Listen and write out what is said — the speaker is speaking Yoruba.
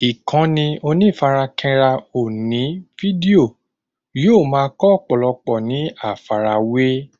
Ìkànnì onífarakínra oní fídíò yóò ma kọ́ ọ̀pọ̀lọpọ̀ ní àfàrawé